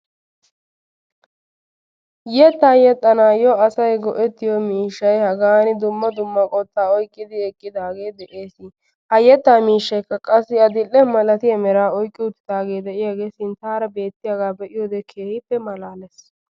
Yetta yexxanayyo asay go'ettiyo miishshay hagaan dumma dumma qottaa oyqqidi eqqidage de'ees. Ha yetta miishshaykka qassi adil'ee malatiya meera oykki uttidage de'iyage sinttara beetiyaga be'iyoge keehippe malaalees.